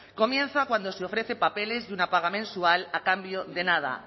comienza cuando se ofrece papeles de una paga mensual a cambio de nada